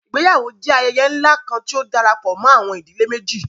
Ìgbéyàwó jẹ ayẹyẹ ńlá kan, tí ó darapọ̀ mọ àwọn ìdílé méjì